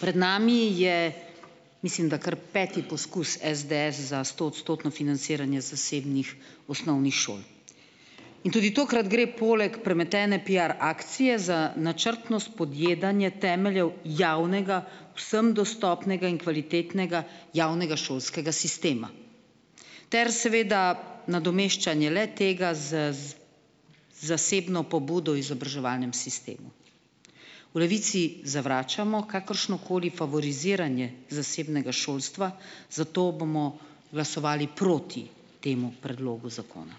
Pred nami je, mislim da, kar peti poskus SDS za stoodstotno financiranje zasebnih osnovnih šol. In tudi tokrat gre poleg premetene piar akcije za načrtno spodjedanje temeljev javnega, vsem dostopnega in kvalitetnega javnega šolskega sistema ter seveda nadomeščanje le-tega z, z zasebno pobudo izobraževalnemu sistemu. V Levici zavračamo kakršnokoli favoriziranje zasebnega šolstva, zato bomo glasovali proti temu predlogu zakona.